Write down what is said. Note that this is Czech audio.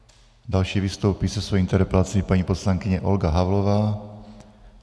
Další vystoupí se svou interpelací paní poslankyně Olga Havlová.